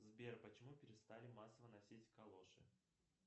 сбер почему перестали массово носить калоши